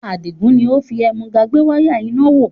Adigun ni ó fi ẹ̀múga gbé wáyà iná wò